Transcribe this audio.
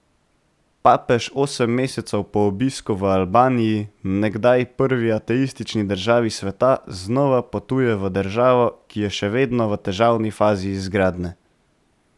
Papež osem mesecev po obisku v Albaniji, nekdaj prvi ateistični državi sveta, znova potuje v državo, ki je še vedno v težavni fazi izgradnje.